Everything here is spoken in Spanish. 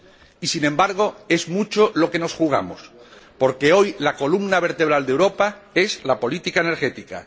Y, sin embargo, es mucho lo que nos jugamos, porque hoy la columna vertebral de Europa es la política energética.